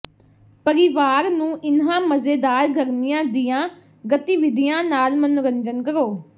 ਪਰਿਵਾਰ ਨੂੰ ਇਨ੍ਹਾਂ ਮਜ਼ੇਦਾਰ ਗਰਮੀਆਂ ਦੀਆਂ ਗਤੀਵਿਧੀਆਂ ਨਾਲ ਮਨੋਰੰਜਨ ਕਰੋ